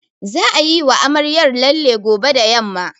Za'a yiwa amaryar lalle gobe da yamma.